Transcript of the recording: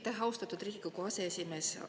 Aitäh, austatud Riigikogu aseesimees!